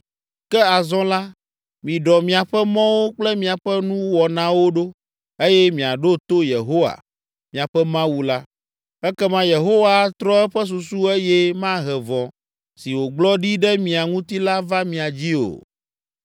Ke azɔ la, miɖɔ miaƒe mɔwo kple miaƒe nuwɔnawo ɖo eye miaɖo to Yehowa, miaƒe Mawu la. Ekema Yehowa atrɔ eƒe susu eye mahe vɔ̃ si wògblɔ ɖi ɖe mia ŋuti la va mia dzii o.